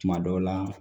Kuma dɔw la